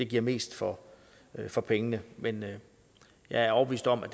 give mest for for pengene men jeg er overbevist om at